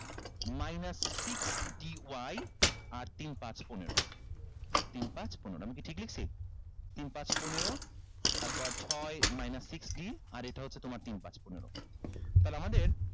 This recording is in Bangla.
minus six d y আর তিন পাঁচ পনেরো তিন পাঁচ পনেরো আমি কি ঠিক লেখছি তিন পাঁচ পনেরো তারপর ছয় minus six d আর এইটা হচ্ছে তোমার তিন পাঁচ পনেরো